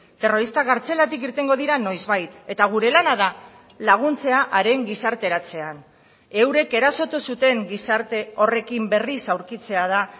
terroristak kartzelatik irtengo dira noizbait eta gure lana da laguntzea haren gizarteratzean eurek erasotu zuten gizarte horrekin berriz aurkitzea da